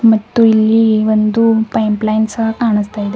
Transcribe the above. ಮತ್ತು ಇಲ್ಲಿ ಒಂದು ಪೈಪ್ ಲೈನ್ ಸಹ ಕಾಣಿಸ್ತಾ ಇದೆ.